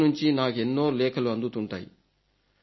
ప్రజల నుంచి నాకెన్నో లేఖలు అందుతుంటాయి